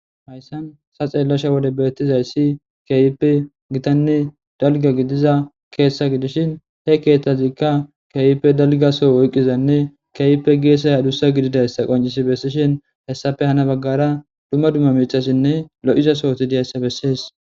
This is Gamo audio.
Hayssan ta xelashe bethizayssi keehippe githane dalgga gidizza keeththa gidishin he keethazikka kehippe dalgga Soho oyqizanne kehippe gesayyi adussa gididayssa qoncissi bessishin hessappe hana bagara dumma dumma mithathinne loo'za sohothi diytta besses.